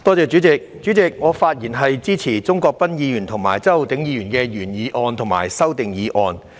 代理主席，我發言支持鍾國斌議員的原議案和周浩鼎議員的修正案。